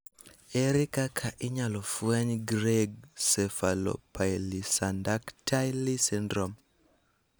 Ere kaka inyalo fweny Greig cephalopolysyndactyly syndrome?